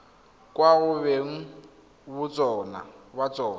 kwa go beng ba tsona